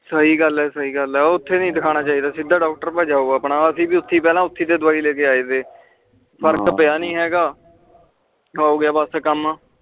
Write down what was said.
ਸਹੀ ਗੱਲ ਆ ਸਹੀ ਗੱਲ ਆ ਓਥੇ ਨੀ ਦਿਖਾਨਾ ਚਾਹੀਦਾ ਸਿੱਧਾ ਡਾਕਟਰ ਕੋਲ ਜਾਓ ਅਸੀਂ ਵੀ ਪਹਿਲਾ ਓਥੇ ਤੇ ਦਵਾਈ ਲੈ ਕੇ ਆਏ ਫਰਕ ਪਿਆ ਨੀ ਤਾ ਹੋਗਿਆ ਬਸ ਕਾਮ